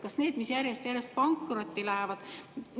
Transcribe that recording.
Kas need, mis järjest pankrotti lähevad?